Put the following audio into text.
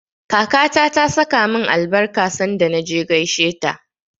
Kakata ta saka min albarka sanda na je gaisheta.